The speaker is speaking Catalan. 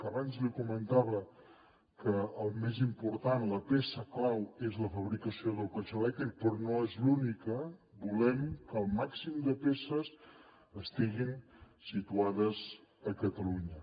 que abans li comentava que el més important la peça clau és la fabricació del cotxe elèctric però no és l’única volem que el màxim de peces estiguin situades a catalunya